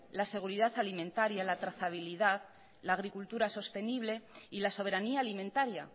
la seguridad alimentaria la trazabilidad la agricultura sostenible y la soberanía alimentaria